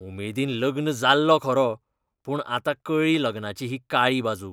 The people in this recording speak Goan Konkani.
उमेदीन लग्न जाल्लों खरों, पूण आतां कळ्ळी लग्नाची ही काळी बाजू.